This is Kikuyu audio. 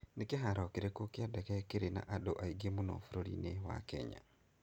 Nĩ kĩhaaro kĩrĩkũ kĩa ndege kĩrĩ na andũ aingĩ mũno bũrũri-inĩ wa Kenya?